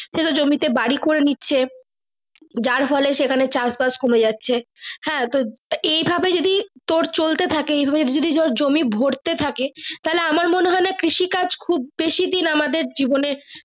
কত জমি তে বাড়ি করে নিচ্ছে যার ফলে চাষ বাস কমে যাচ্ছে হাঁ তো এই ভাবে যদি চলতে থাকে এইভাবে ধরে জমি ভরতে থাকে তাহলে আমার মনে হয়না কৃষি কাজ খুব বেশি দিন আমাদের জীবনে।